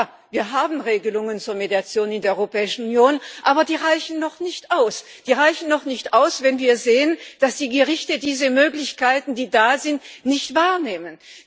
Ja, wir haben Regelungen zur Mediation in der Europäischen Union, aber die reichen noch nicht aus. Die reichen noch nicht aus, wenn wir sehen, dass die Gerichte diese Möglichkeiten, die es gibt, nicht wahrnehmen.